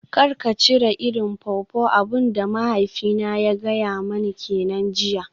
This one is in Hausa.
Kar ka cire irin pawpaw, abin da mahaifina ya gaya mani kenan jiya.